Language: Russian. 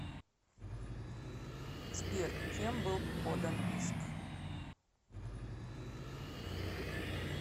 сбер кем был подан иск